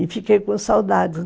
E fiquei com saudades